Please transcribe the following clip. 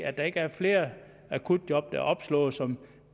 at der ikke er flere akutjob der er opslået som